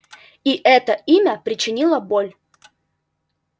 и это имя причинило боль